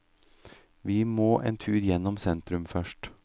Vi må en tur gjennom sentrum først.